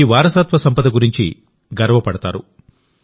మీ వారసత్వ సంపద గురించి గర్వపడతారు